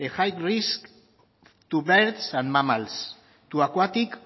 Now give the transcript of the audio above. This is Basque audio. the high risk to birds and mammals to aquatic